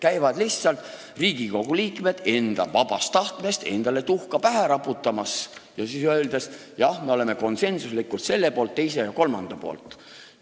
Riigikogu liikmed käivad seal lihtsalt oma vabast tahtest endale tuhka pähe raputamas ja siis ütlevad, et jah, me oleme konsensuslikult selle, teise ja kolmanda poolt.